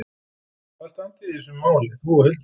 Hvar standið þið í þessum máli, þú og Hildur?